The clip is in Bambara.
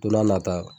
Don n'a nata